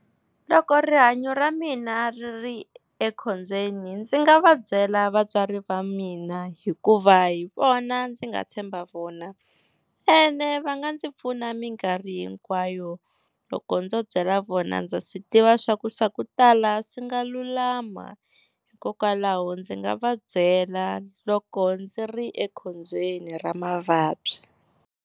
Loko rihanyo ra mina ri ri ekhombyeni ndzi nga va byela vatswari va mina, hikuva hi vona ndzi nga tshemba vona ene va nga ndzi pfuna minkarhi hinkwayo. Loko ndzo byela vona ndza swi tiva swa ku, swa ku tala swi nga lulama. Hikokwalaho ndzi nga va byela loko ndzi ri ekhombyeni ra mavabyi.